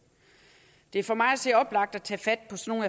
det er for mig at se oplagt at tage fat på sådan